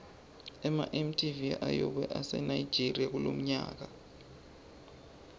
ema mtv ayobe ase nigeria lomnyaka